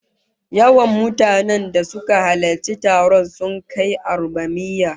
Yawan mutanen da suka halarci taron sun kai arbamiyya